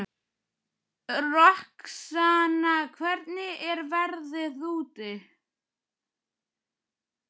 Roxanna, hvernig er veðrið úti?